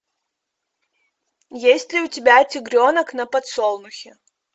есть ли у тебя тигренок на подсолнухе